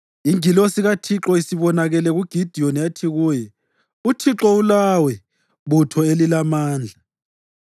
Ingilosi kaThixo isibonakele kuGidiyoni yathi kuye, “ UThixo ulawe, butho elilamandla.”